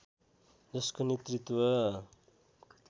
जसको नेतृत्व